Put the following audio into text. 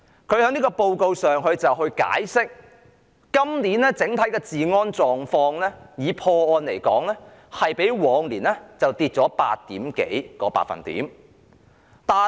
他就有關報告解釋 ，2019 年的整體破案率比2018年下跌超過 8%。